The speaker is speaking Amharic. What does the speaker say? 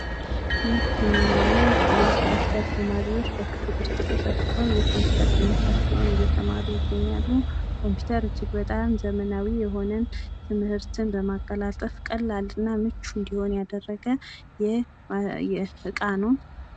ይህ የምናዬው የኮፒውተር ተማሪዎች በክፍል ውስጥ ተሰብስበው የኮፒውተር ትምህርታቸውን እየተማሩ ይገኛሉ። ኮፒውተር እጅግ በጣም ዘመናዊ የሆነ ትምህርትን በማቀላጠፍ ቀላልና ምቹ ያደረገ እቃ ነው።